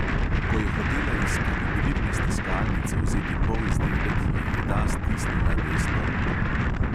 Ko je hotela iz kalibrirne stiskalnice vzeti polizdelek, ji je ta stisnila desno roko.